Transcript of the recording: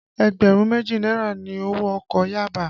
Ẹgbẹ̀rún méjì náírà ni owó ọkọ̀ Yaba